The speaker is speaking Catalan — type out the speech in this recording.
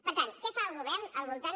per tant què fa el govern al voltant